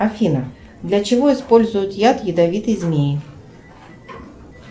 афина для чего используют яд ядовитые змеи